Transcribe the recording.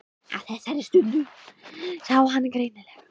Á þessari stundu sá hann greinilega.